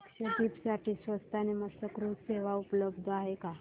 लक्षद्वीप साठी स्वस्त आणि मस्त क्रुझ सेवा उपलब्ध आहे का